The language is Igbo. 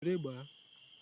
Were gbaa!